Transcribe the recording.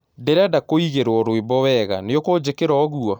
ndĩrenda kuigĩrwo rwĩmbo wega niukujikira uguo